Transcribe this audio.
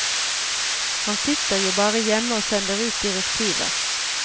Han sitter jo bare hjemme og sender ut direktiver.